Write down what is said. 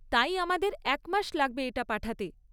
তাই, আমাদের এক মাস লাগবে এটা পাঠাতে।